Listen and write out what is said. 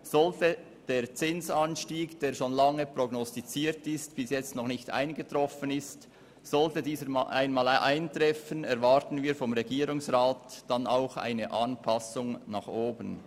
Sollte der Zinsanstieg, der schon lange prognostiziert, aber bisher noch nicht eingetroffen ist, einmal eintreffen, erwarten wir vom Regierungsrat auch eine Anpassung nach oben.